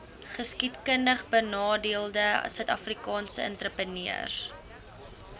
geskiedkundigbenadeelde suidafrikaanse entrepreneurs